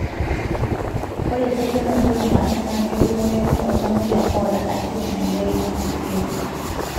ore pukunoto napaasha na ketumoyu toltamoyia oata acute myeloid leukemia (AML),